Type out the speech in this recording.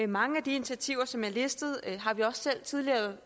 mange af de initiativer som er listet har vi også selv tidligere